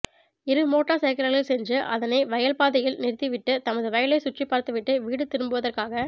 இரு மோட்டார் சைக்கிளில் சென்று அதனை வயல் பாதையில் நிறுத்திவிட்டு தமது வயலை சுற்றிப் பார்த்துவிட்டு வீடு திரும்புவதற்காக